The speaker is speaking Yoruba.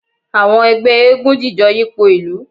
awọn èlẹgbẹ́ égúǹ jijó yipo ilù